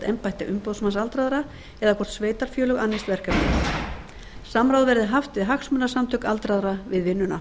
embætti umboðsmanns aldraðra eða hvort sveitarfélög annist verkefnið samráð verði haft við hagsmunasamtök aldraðra við vinnuna